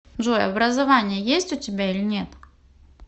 джой образование есть у тебя или нет